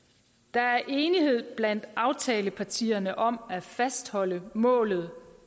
er enighed blandt aftalepartierne om at fastholde målet